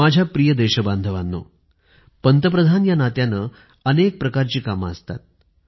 माझ्या प्रिय देशबांधवांनो पंतप्रधान या नात्याने अनेक प्रकारची कामे असतात